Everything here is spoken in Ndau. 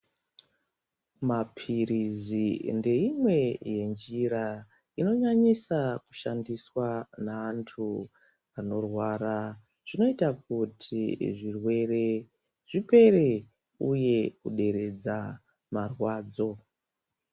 Mapirizi ndeimwe yenjira inonyanyisa kushandiswa neantu anorwara. Zvinoita kuti zvirwere zvipere uye kuderedza marwadzo.